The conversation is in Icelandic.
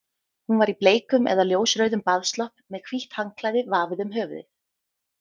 Hún var í bleikum eða ljósrauðum baðslopp með hvítt handklæði vafið um höfuðið.